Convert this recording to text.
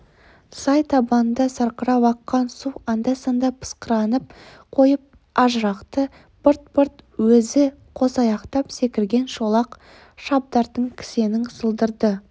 сай табанында сарқырап аққан су анда-санда пысқырынып қойып ажырықты бырт-бырт үзіп қосаяқтап секірген шолақ шабдардың кісенінің сылдыры